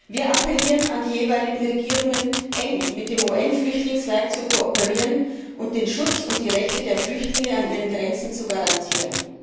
Wir appellieren an die jeweiligen Regierungen, eng mit dem UN Flüchtlingswerk zu kooperieren und den Schutz und die Rechte der Flüchtlinge an ihren Grenzen zu garantieren.